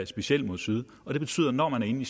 specielt mod syd og det betyder at når man er inde i